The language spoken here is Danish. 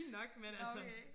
Fin nok men altså